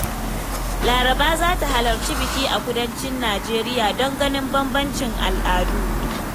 Laraba za ta halarci biki a kudancin Najeriya don ganin bambancin al'adu.